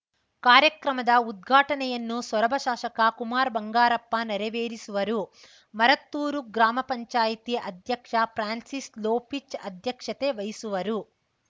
ಕಾರ್ಯಕ್ರಮದ ಉದ್ಘಾಟನೆಯನ್ನು ಸೊರಬ ಶಾಸಕ ಕುಮಾರ್‌ ಬಂಗಾರಪ್ಪ ನೆರವೇರಿಸುವರು ಮರತ್ತೂರು ಗ್ರಾಮಪಂಚಾಯತಿ ಅಧ್ಯಕ್ಷ ಫಾನ್ಸಿಸ್‌ ಲೊಪಿಚ್‌ ಅಧ್ಯಕ್ಷತೆ ವಹಿಸುವರು